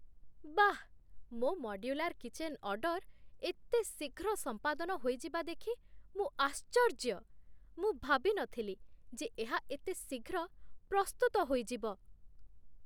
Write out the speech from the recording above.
ବାଃ! ମୋ modular kitchen order ଏତେ ଶୀଘ୍ର ସମ୍ପାଦନ ହୋଇଯିବା ଦେଖି ମୁଁ ଆଶ୍ଚର୍ଯ୍ୟ। ମୁଁ ଭାବି ନଥିଲି ଯେ ଏହା ଏତେ ଶୀଘ୍ର ପ୍ରସ୍ତୁତ ହୋଇଯିବ!